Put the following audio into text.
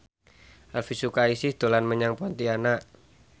Elvy Sukaesih dolan menyang Pontianak